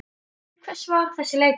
Til hvers var þessi leikur?